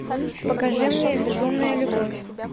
покажи мне безумная любовь